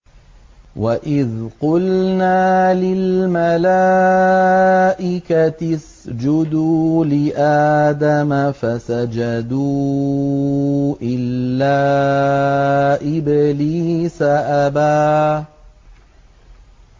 وَإِذْ قُلْنَا لِلْمَلَائِكَةِ اسْجُدُوا لِآدَمَ فَسَجَدُوا إِلَّا إِبْلِيسَ أَبَىٰ